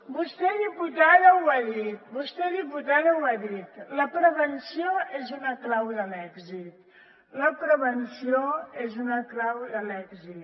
vostè diputada ho ha dit vostè diputada ho ha dit la prevenció és una clau de l’èxit la prevenció és una clau de l’èxit